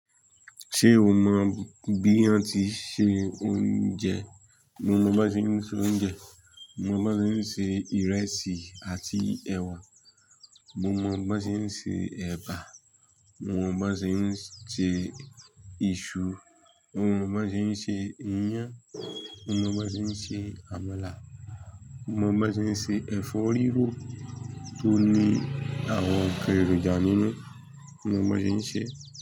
Ṣé o mọ bí a n tííse oúnjẹ? Mo mọ bí wón tí ń se oúnjẹ. Mo mọ bí wón tí ń se ìrẹsì àti ẹ̀wà. Mo mọ bí wón tí ń se ẹ̀bà. Mo mọ bí wón tí ń se iṣu. Mo mọ bí wón tí ń se iyán. Mo mọ bí wón tí ń se àmàlà. Mo mọ bí wón tí ń se ẹ̀fọ́ rírò tó ní àwọn nkan èrònjà nínú. Mo mọ bí wón tí ń ṣe.